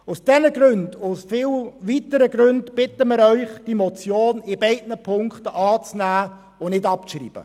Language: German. Aus diesem und vielen weiteren Gründen bitten wir Sie, die Motion in beiden Punkten anzunehmen und nicht abzuschreiben.